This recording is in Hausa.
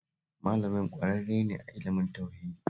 Malamin ƙwararre ne a ilimin tauhidi